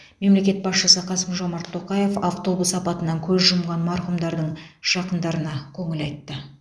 мемлекет басшысы қасым жомарт тоқаев автобус апатынан көз жұмған марқұмдардың жақындарына көңіл айтты